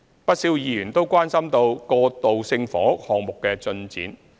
不少議員都關心過渡性房屋項目的進展。